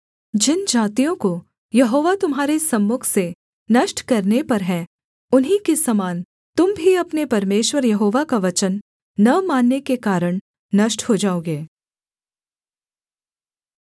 जिन जातियों को यहोवा तुम्हारे सम्मुख से नष्ट करने पर है उन्हीं के समान तुम भी अपने परमेश्वर यहोवा का वचन न मानने के कारण नष्ट हो जाओगे